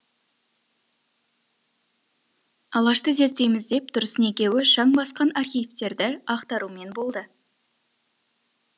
алашты зерттейміз деп тұрсын екеуі шаң басқан архивтерді ақтарумен болды